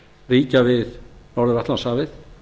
ríkja við norður atlantshafið